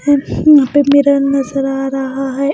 हैं यहाँ पे मिरर नजर आ रहा है।